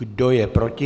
Kdo je proti?